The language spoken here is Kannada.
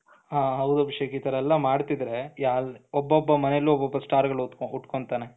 ಹ ಹೌದು ಅಭಿಷೇಕ್ ಇತರೆಲ್ಲ ಮಾಡ್ತಿದ್ರೆ ಒಬ್ಬೊಬ್ಬ ಮನೆಯಲ್ಲೂ ಒಬ್ಬೊಬ್ಬ ಸ್ಟಾರ್ ಉಟ್ಕೋತಾನೆ,